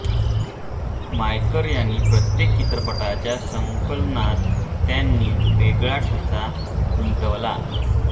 मयेकर यांनी प्रत्येक चित्रपटाच्या संकलनात त्यांनी वेगळा ठसा उमटवला